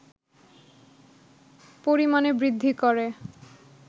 পরিমাণে বৃদ্ধি করে